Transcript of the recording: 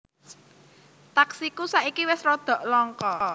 Taksiku saiki wes rodo longko